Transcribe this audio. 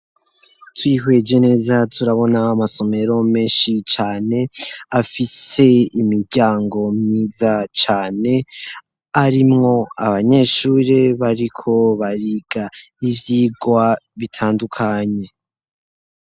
Twihweje neza turabona amasomero menshi cane afise imiryango myiza cane arimwo abanyeshuri bariko bariga ivyigwa bitandukanye.